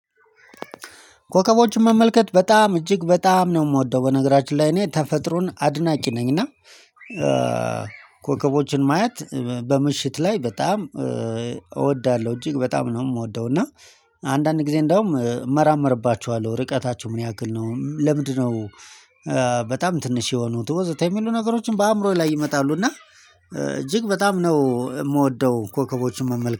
ኮከቦችን መመልከት በጣም እጅግ በጣም ነው የምወደው በነገራችን ላይ እኔ ተፈጥሮን አድናቂ ነኝና እና ኮከቦችን ማየት በምሽት ላይ በጣም እወዳለሁ። እጅግ በጣም የምወደው እና አንዳንድ ጊዜ እንደውም እመራመርባችኋለሁ ርቀታቸው ምን ያክል ነው? ለምንድነው በጣም ትንሽ የሆኑት ወዘተ የሚሉ ነገሮችን በአእምሮዬ ላይ ይመጣሉ። እና እጅግ በጣም ነው የምወደው ኮከቦችን መመልከት